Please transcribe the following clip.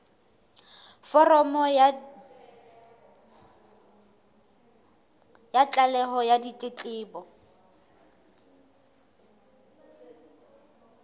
foromo ya tlaleho ya ditletlebo